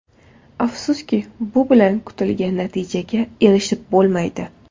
Afsuski, bu bilan kutilgan natijaga erishib bo‘lmaydi.